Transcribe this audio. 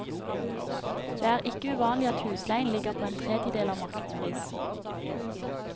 Det er ikke uvanlig at husleien ligger på en tredjedel av markedspris.